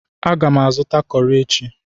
Aga m azụta kọrị echi.